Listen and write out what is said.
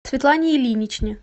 светлане ильиничне